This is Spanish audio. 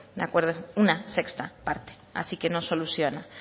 de acuerdo es una sexta parte así que no soluciona